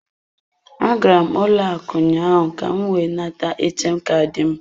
Agara m ụlọ akụ ụnyaahụ ka m wee nata ATM Kaadị m.